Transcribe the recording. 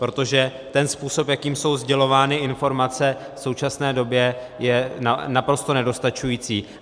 Protože ten způsob, jakým jsou sdělovány informace v současné době, je naprosto nedostačující.